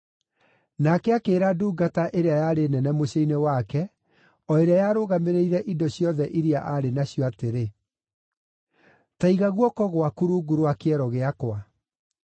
Nake akĩĩra ndungata ĩrĩa yarĩ nene mũciĩ-inĩ wake, o ĩrĩa yarũgamĩrĩire indo ciothe iria aarĩ nacio atĩrĩ, “Ta iga guoko gwaku rungu rwa kĩero gĩakwa.